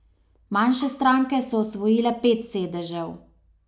Manjše stranke so osvojile pet sedežev.